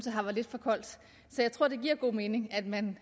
at her var lidt for koldt så jeg tror det giver god mening at man